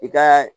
I ka